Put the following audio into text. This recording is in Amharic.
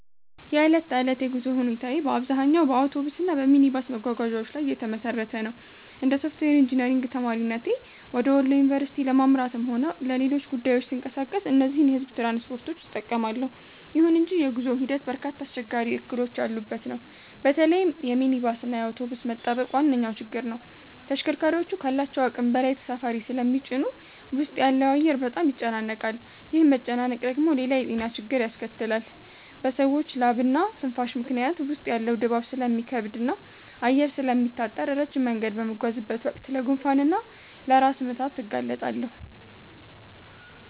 የዕለት ተዕለት የጉዞ ሁኔታዬ በአብዛኛው በአውቶቡስ እና በሚኒባስ መጓጓዣዎች ላይ የተመሰረተ ነው። እንደ ሶፍትዌር ኢንጂነሪንግ ተማሪነቴ ወደ ወሎ ዩኒቨርሲቲ ለማምራትም ሆነ ለሌሎች ጉዳዮች ስንቀሳቀስ እነዚህን የሕዝብ ትራንስፖርቶች እጠቀማለሁ። ይሁን እንጂ የጉዞው ሂደት በርካታ አስቸጋሪ እክሎች ያሉበት ነው። በተለይም የሚኒባስ እና የአውቶቡስ መጣበቅ ዋነኛው ችግር ነው። ተሽከርካሪዎቹ ካላቸው አቅም በላይ ተሳፋሪ ስለሚጭኑ ውስጥ ያለው አየር በጣም ይጨናነቃል። ይህ መጨናነቅ ደግሞ ሌላ የጤና ችግር ያስከትላል፤ በሰዎች ላብና ትንፋሽ ምክንያት ውስጥ ያለው ድባብ ስለሚከብድና አየር ስለሚታጠር፣ ረጅም መንገድ በምጓዝበት ወቅት ለጉንፋን እና ለራስ ምታት እጋለጣለሁ